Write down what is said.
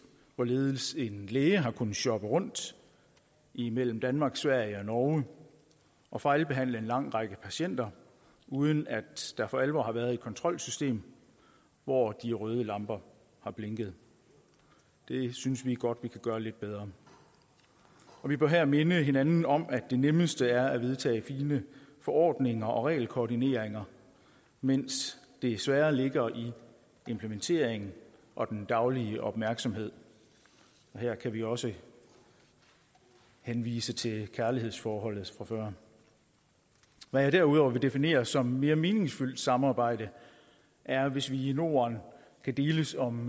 hvorledes en læge har kunnet shoppe rundt imellem danmark sverige og norge og fejlbehandle en lang række patienter uden at der for alvor har været et kontrolsystem hvor de røde lamper har blinket det synes vi godt at vi kan gøre lidt bedre vi bør her minde hinanden om at det nemmeste er at vedtage fine forordninger og regelkoordineringer mens det svære ligger i implementeringen og den daglige opmærksomhed her kan vi også henvise til kærlighedsforholdet fra før hvad jeg derudover vil definere som mere meningsfyldt samarbejde er hvis vi i norden kan deles om